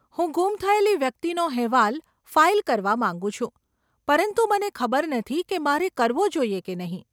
હું ગુમ થયેલી વ્યક્તિનો હેવાલ ફાઇલ કરવા માંગુ છું પરંતુ મને ખબર નથી કે મારે કરવો જોઈએ કે નહીં.